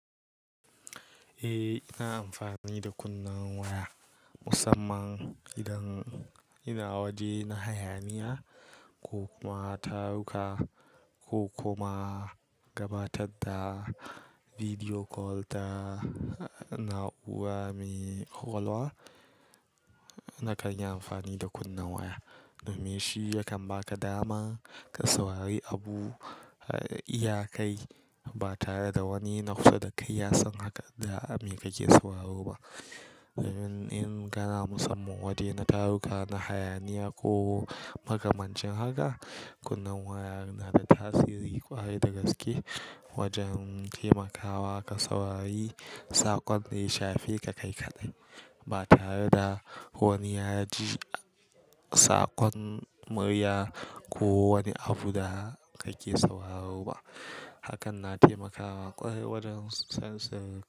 Eh, ina amfani da kunnen waya musamman idan ina waje na hayaniya ko kuma taruka ko kuma gabatar da video call ta na'ura me ƙwaƙwalwa. Na kan yi amfani da kunnen waya, domin shi yakan baka dama ka saurari abu a iyakai ba tare da wani na kusa da kai yasan haka da me kake sauraro ba. In-in kana musamman waje na taruka, na hayaniya ko makamancin haka, kunnen waya yana da tasiri ƙwarai da gaske wajen taimakawa ka saurari saƙon da ya shafi ka kai kaɗai ba tare da wani ya ji saƙon murya ko wani abu da kake sauraro ba. Hakan na taimakawa ƙwarai wajen sansin.